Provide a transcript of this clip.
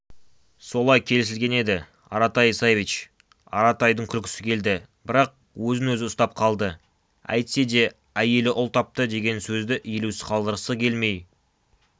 солай келісілген еді аратай исаевич аратайдың күлкісі келді бірақ өзін-өзі ұстап қалды әйтсе де әйелі ұл тапты деген сөзді елеусіз қалдырғысы келмей